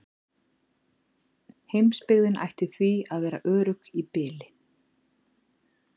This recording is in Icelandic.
Heimsbyggðin ætti því að vera örugg í bili.